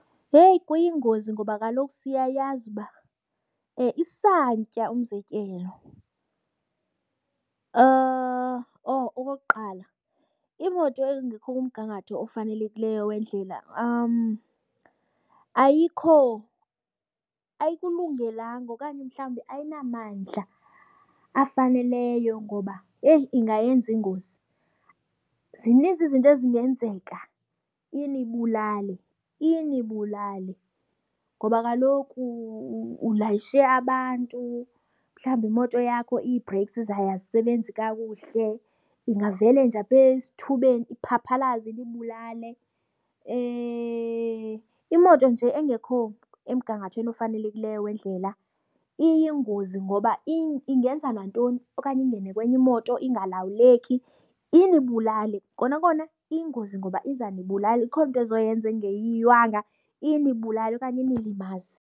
Heyi, kuyingozi ngoba kaloku siyayazi uba isantya umzekelo. Oh, okokuqala imoto engekho kumgangatho ofanelekileyo wendlela ayikho ayikulungelanga okanye mhlawumbi ayinamandla afaneleyo ngoba yeyi ingayenza ingozi. Zininzi izinto ezingenzeka inibulale, inibulale ngoba kaloku ulayishe abantu mhlawumbi imoto yakho ii-breaks zayo azisebenzi kakuhle, ingavele nje apha esithubeni iphaphalaze inibulale. Imoto nje engekho emgangathweni ofanelekileyo wendlela iyingozi ngoba ingenza nantoni okanye ingene kwenye imoto, ingalawuleki inibulale. Kona kona iyingozi ngoba izanibulala, ikhona into ezoyenza engeyiywanga inibulale okanye inilimaze.